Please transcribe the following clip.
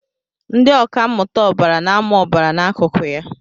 Ndị ọkà mmụta ọbara na-amụ ọbara na akụkụ ya